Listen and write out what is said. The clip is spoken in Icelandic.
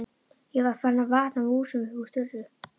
Ég var farin að vatna músum upp úr þurru!